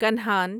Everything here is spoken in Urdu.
کنہان